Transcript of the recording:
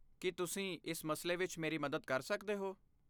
ਕੀ ਤੁਸੀਂ ਇਸ ਮਸਲੇ ਵਿੱਚ ਮੇਰੀ ਮਦਦ ਕਰ ਸਕਦੇ ਹੋ?